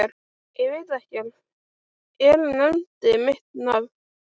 Ég veit ekkert, hver nefndi mitt nafn?